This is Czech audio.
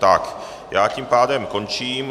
Tak já tím pádem končím.